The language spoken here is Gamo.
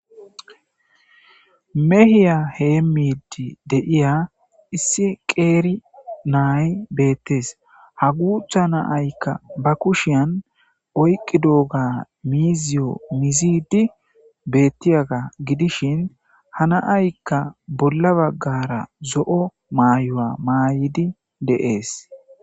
Mehiya hemidi de'iya issi qeri na'ay beetes. Ha gutha na'ayka ba kushiya oykidoba miiziyo muzidi betiyaga gidishin, ha na'ayka bolla bagara zo'o mayo mayidi de'es.